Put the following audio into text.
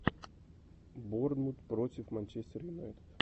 борнмут против манчестер юнайтед